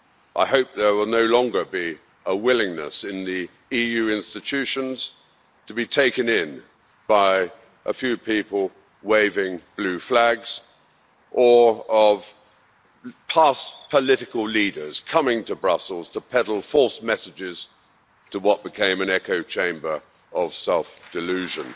I hope there will no longer be a willingness in the EU institutions to be taken in by a few people waving blue flags or of past political leaders coming to Brussels to peddle false messages to what became an echo chamber of self delusion.